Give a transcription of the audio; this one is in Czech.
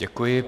Děkuji.